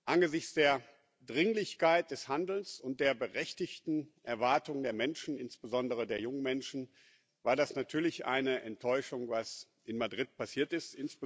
Angesichts der Dringlichkeit des Handelns und der berechtigten Erwartungen der Menschen, insbesondere der jungen Menschen, war das natürlich eine Enttäuschung, was in Madrid passiert ist.